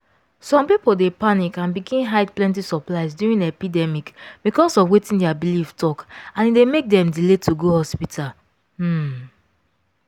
some people dey panic and begin hide plenty supplies during epidemic because of wetin their belief talk and e dey make dem delay go hospital. um